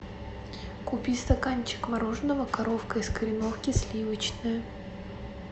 купи стаканчик мороженого коровка из кореновки сливочное